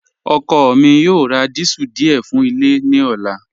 Ọkọ mi yoo rá díésẹ̀l díẹ̀ fún ilẹ̀ ní ọ̀là.